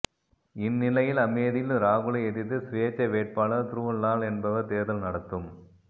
இந்நிலையில் அமேதியில் ராகுலை எதிர்த்து சுயேட்சை வேட்பாளர் துருவ்லால் என்பவர் தேர்தல் நடத்தும்